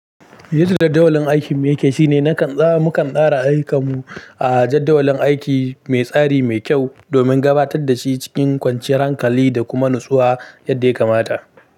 Yadda jadawalin aikin mai kyau shine mukan tsara aikimu a jadawalin aiki mai tsari mai kyau domin gabatar da shi cikin kwanciyar hankali da kuma natsuwa yadda ya kamata.